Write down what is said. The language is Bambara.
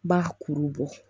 Ba kuru bɔ